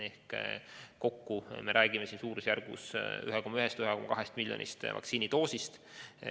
Seega me räägime kokku umbes 1,1 või 1,2 miljonist vaktsiinidoosist.